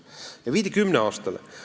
Nii vähendati seda aega kümne aastani.